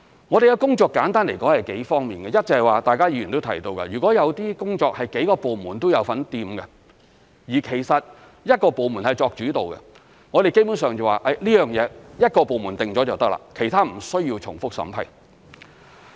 我們的工作簡單來說有數方面，一，就是議員提到的，如果有些工作是幾個部門也有份參與，但其實由一個部門作主導，基本上這件事由一個部門決定就可以了，其他部門無需重複審批。